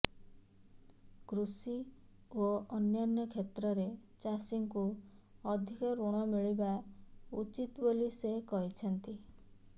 କୃଷି ଓ ଅନ୍ୟାନ୍ୟ କ୍ଷେତ୍ରରେ ଚାଷୀଙ୍କୁ ଅଧିକ ଋଣ ମିଳିବା ଉଚିତ ବୋଲି ସେ କହିଛନ୍ତି